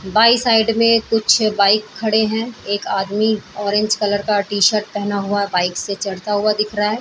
By side में कुछ bike खड़े हैं एक आदमी ऑरेंज कलर का टी-शर्ट पहना हुआ बाइक से चढ़ता हुआ दिख रहा है।